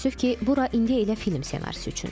Təəssüf ki, bura indi elə film ssenarisi üçündür.